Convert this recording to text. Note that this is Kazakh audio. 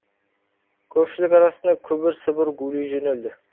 көпшілік арасында күбір сыбыр гулей жөнелді